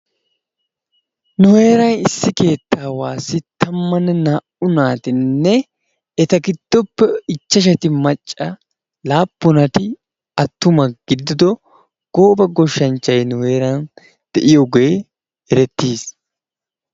Nu heeran issi keettaawasi tammanne naa"u naatinne eta giddoppe ichchashati macca laappunatu attuma giidido gooba gooshshanchchay nu heeran de'iyoogee erettiis.